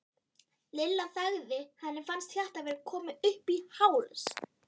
Lilla þagði, henni fannst hjartað vera komið upp í háls.